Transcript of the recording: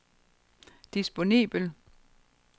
disponibel